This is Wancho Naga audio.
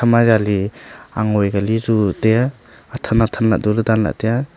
ema jali angoi Kali chu taiya atha atha danlah duley taiya.